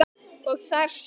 og þar sem